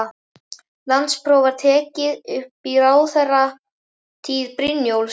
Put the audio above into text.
Landspróf var tekið upp í ráðherratíð Brynjólfs